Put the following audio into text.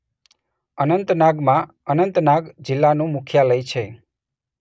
અનંતનાગમાં અનંતનાગ જિલ્લાનું મુખ્યાલય છે.